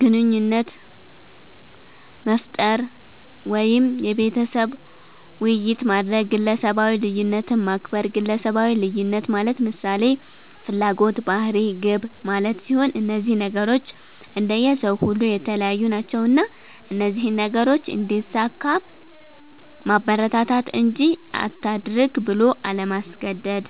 ግንኙነት መፍጠር ወይም የቤተሰብ ዉይይት ማድረግ፣ ግለሰባዊ ልዩነትን ማክበር ግለሰባዊ ልዩነት ማለት ምሳሌ፦ ፍላጎት፣ ባህሪ፣ ግብ ማለት ሲሆን እነዚህ ነገሮች እንደየ ሰዉ ሁሉ የተለያዩ ናቸዉና እነዚህን ነገሮች እንዲያሳካ ማበረታታት እንጂ አታድርግ ብሎ አለማስገደድ።